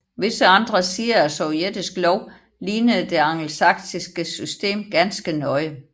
Visse andre sider af sovjetisk lov lignede det angelsaksiske system ganske nøje